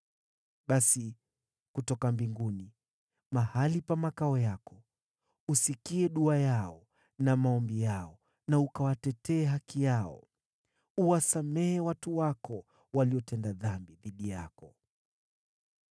basi kutoka mbinguni, mahali pa makao yako, usikie dua yao na maombi yao na kuitetea haki yao. Uwasamehe watu wako, waliotenda dhambi dhidi yako.